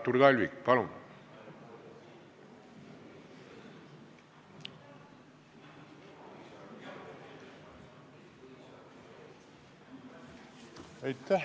Artur Talvik, palun!